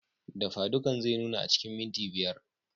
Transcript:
Dafadukan zai nuna a cikin mintuna biyar.